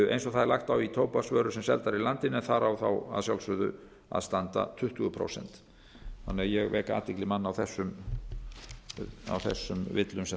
eins og það er lagt á tóbaksvörur sem seldar eru í landinu en þar á að sjálfsögðu að standa tuttugu prósent þannig að ég vek athygli manna á þeim villum sem þarna